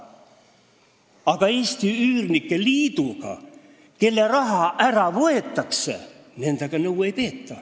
Aga Eesti Üürnike Liiduga, kellelt raha ära võetakse, nõu ei peeta!